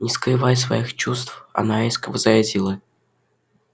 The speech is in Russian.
не скрывая своих чувств она резко возразила